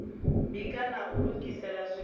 bika na u lugisela zwiḽiwa